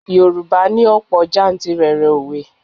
Yorùbá ní òpò jantìrẹrẹ òwe.